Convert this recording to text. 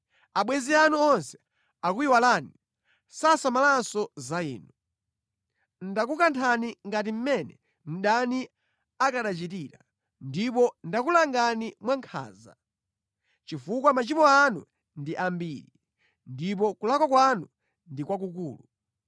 Abwenzi anu onse akuyiwalani; sasamalanso za inu. Ndakukanthani ngati mmene mdani akanachitira. Ndipo ndakulangani mwa nkhanza, chifukwa machimo anu ndi ambiri, ndipo kulakwa kwanu ndi kwakukulu.